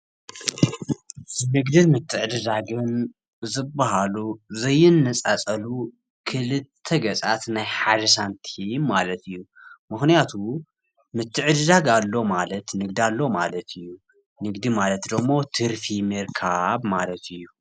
ንግድን ምትዕድዳግን ዝበሃሉ ዘይነፃፀሉ ክልተ ገፃት ናይ ሐደ ሳንቲም ማለት እዩ። ምክንያቱ ምትዕድዳግ ኣሎ ማለት ንግዲ ኣሎ ማለት እዩ። ንግዲ ማለት ድማ ትርፊ ምርካብ ማለት እዩ።